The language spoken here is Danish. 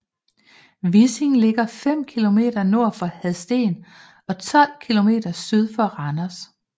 Vissing ligger fem kilometer nord for Hadsten og 12 kilometer syd for Randers